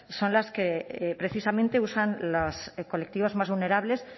son las que precisamente usan los colectivos más vulnerables